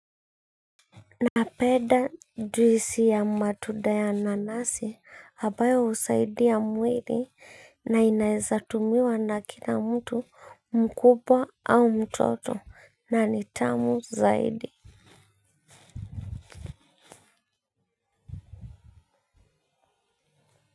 Napeda juisi ya matuda ya nanasi abayo husaidia mwiri na inaeza tumiwa na kila mtu mkubwa au mtoto na ni tamu zaidi.